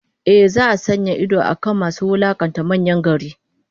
Ehh, za'a sanya idon akan masu wulakanta manyan gari